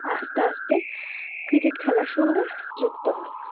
আস্তে আস্তে cricket খেলার সঙ্গে যুক্ত হন